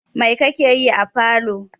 Mai kake yi a falo?